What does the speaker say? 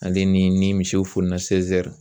Ale ni misiw fonina